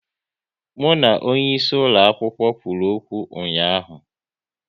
Mụ na onye isi ulo akwụkwọ kwụrụ okwu ụnyaahụ